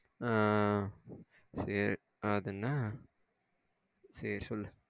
ஆ சரி அது என்ன சேரி சொல்லு.